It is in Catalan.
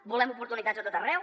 volem oportunitats a tot arreu